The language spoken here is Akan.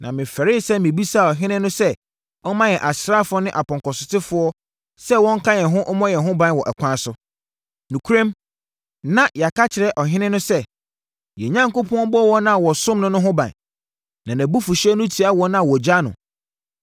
Na mefɛree sɛ mebisaa ɔhene no sɛ ɔmma yɛn asraafoɔ ne apɔnkɔsotefoɔ sɛ wɔnka yɛn ho mmɔ yɛn ho ban wɔ ɛkwan so. Nokorɛm, na yɛaka akyerɛ ɔhene no sɛ, “Yɛn Onyankopɔn bɔ wɔn a wɔsom no no ho ban, na nʼabufuhyeɛ no tia wɔn a wɔgya no.”